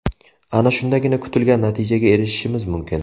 Ana shundagina kutilgan natijaga erishishimiz mumkin”.